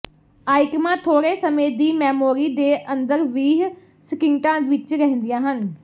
ਆਈਟਮਾਂ ਥੋੜ੍ਹੇ ਸਮੇਂ ਦੀ ਮੈਮੋਰੀ ਦੇ ਅੰਦਰ ਵੀਹ ਸਕਿੰਟਾਂ ਵਿਚ ਰਹਿੰਦੀਆਂ ਹਨ